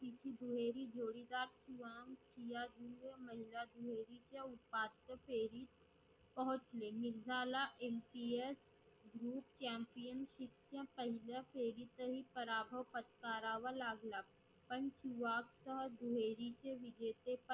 उपांत्य फेरी पोहचले. मिर्झाला MPSGroup champion तिथ्य पहिल्या फेरीतही पराभव पत्करावा लागला. पण सुवात्य देहरीचे विजेतेचे